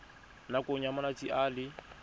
nakong ya malatsi a le